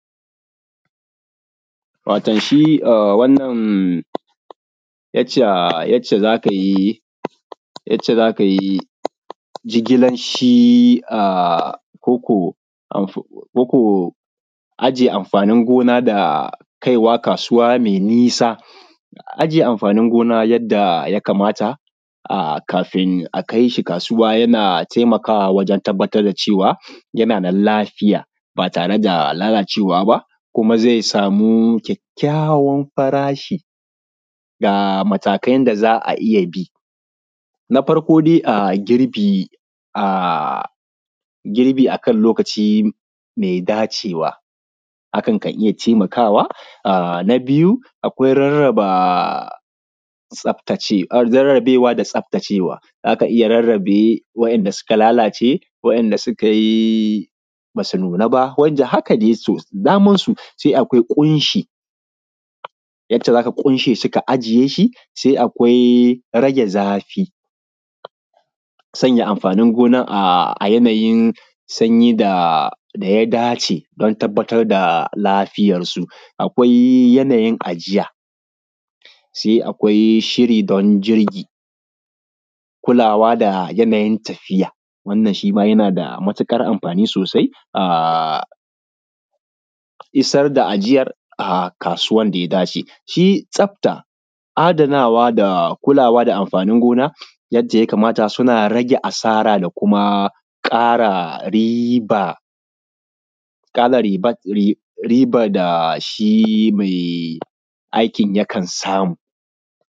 Wato shi wannan yac ce yadda aka yi yadda za ka yi jigilar shi a koko ko aje amfanin gona a kaiwa kasuwa me nisa, a ajiye amfanin gona yadda ya kamata a kafin a kai shi kasuwa yana taimakawa a wajen tabbatar da cewa yana nan lafiya ba tare da lalacewa ba, kuma ze samu kakkayawan farashi da matakin da za a iya bi na farko dai girbi, a girbi a kan lokaci me dacewa a kanka iya taimakawa, na biyu rarraba tsafta, rarrabewa da tsafta cewa iya rarrace waɗanda suka lalace wanda suka yi ba su nuna ba wanda haka dai sosai. Se akwai ƙunshi wanda za ka ƙunshe su ka ajiye shi, se akwai rage zafi, sanya amfanin gonan a yanayin sanyi da ya dace don tabbatar da lafiyansu yanayin ajiya se akwai shiri kulawa da yanayin tafiya wannan yana da matuƙar amfani sosai a isar da ajiyan a kasuwan da ya dace. Shi tsafta, adanawa da kulawa da amfanin gona yadda ya kamata suna rage asara da kuma ƙara riba, ƙara ribar da shi mai aikin yakan samu.